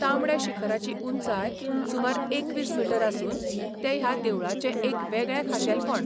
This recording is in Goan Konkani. तांबड्या शिखराची उंचाय सुमार एकवीस मीटर आसून तें ह्या देवळाचें एक वेगळें खाशेलपण.